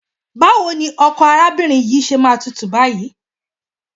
Báwo ni ọkọ arábìnrin yìí ṣe máa tútù báyìí?